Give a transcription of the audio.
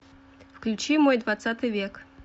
включи мой двадцатый век